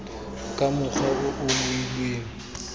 ka mokgwa o o beilweng